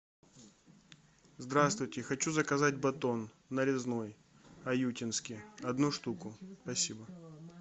здравствуйте хочу заказать батон нарезной аютинский одну штуку спасибо